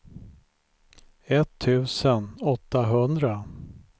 etttusen åttahundra